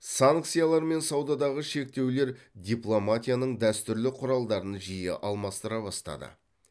санкциялар мен саудадағы шектеулер дипломатияның дәстүрлі құралдарын жиі алмастыра бастады